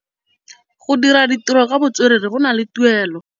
Go dira ditirô ka botswerere go na le tuelô.